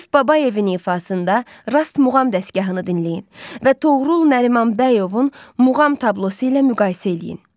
Arif Babayevin ifasında Rast muğam dəstgahını dinləyin və Toğrul Nərimanbəyovun muğam tablosu ilə müqayisə eləyin.